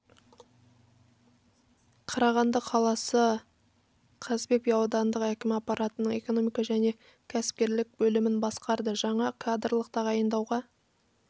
қарағанды қаласы қазыбек би аудандық әкімі аппаратының экономика және кәсіпкерлік бөлімін басқарды жаңа кадрлық тағайындауға